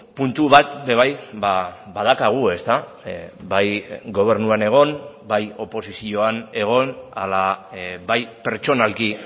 puntu bat ere bai badaukagu ezta bai gobernuan egon bai oposizioan egon ala bai pertsonalki